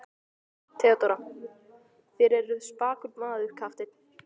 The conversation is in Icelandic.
THEODÓRA: Þér eruð spakur maður, kafteinn.